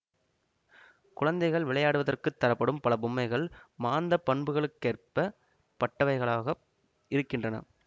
குழந்தைகள் விளையாடுவதற்குத் தரப்படும் பல பொம்மைகள் மாந்தப்பண்புகளேற்றப் பட்டவைகளாக இருக்கின்றன